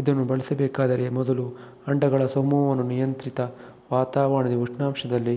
ಇದನ್ನು ಬೆಳೆಸಬೇಕಾದರೆ ಮೊದಲು ಅಂಡಗಳ ಸಮೂಹವನ್ನು ನಿಯಂತ್ರಿತ ವಾತಾವರಣದಲ್ಲಿ ಉಷ್ಣಾಂಶದಲ್ಲಿ